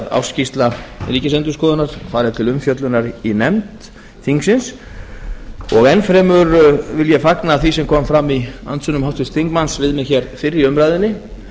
ársskýrsla ríkisendurskoðunar fari til umfjöllunar í nefnd þingsins enn fremur vil ég fagna því sem kom fram í andsvörum háttvirts þingmanns við mig hér fyrr í umræðunni